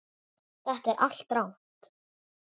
Þetta er allt rangt.